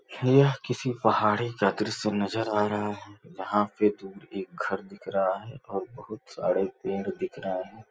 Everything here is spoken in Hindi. यह किसी पहाड़ी का दृश्य नज़र आ रहा है जहाँ पे दूर एक घर दिख रहा है और बहुत सारे पेड़ दिख रहे हैं।